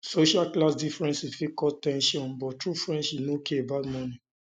social class difference um fit cause ten sion um but true friendship no care about money